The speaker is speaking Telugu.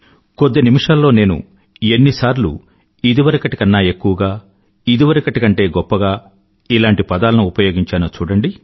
కొద్ది నిమిషాల్లో నేను ఎన్నిసార్లు ఇదివరకటి కన్నాఎక్కువగా ఇదివరకటి కంటే గొప్పగా లాంటి పదాలను ఉపయోగించానో చూడండి